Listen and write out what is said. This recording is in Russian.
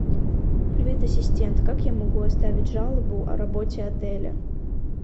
привет ассистент как я могу оставить жалобу о работе отеля